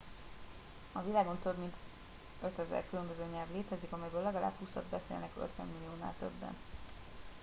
a világon több mint 5000 különböző nyelv létezik amelyből legalább húszat beszélnek 50 milliónál többen